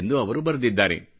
ಎಂದು ಅವರು ಬರೆದಿದ್ದಾರೆ